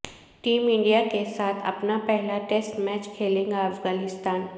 team India کے ساتھ اپنا پہلا ٹیسٹ میچ کھیلے گا افغانستان